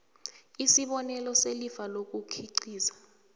isibonelelo selifa lokukhiqiza